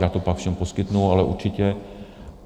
Já to pak všem poskytnu, ale určitě.